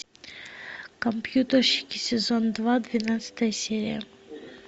компьютерщики сезон два двенадцатая серия